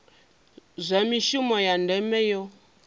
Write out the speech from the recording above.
zwa mishumo ya ndeme yo